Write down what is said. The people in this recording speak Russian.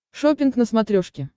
шоппинг на смотрешке